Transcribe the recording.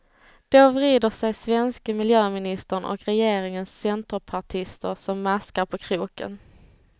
Då vrider sig svenske miljöministern och regeringens centerpartister som maskar på kroken.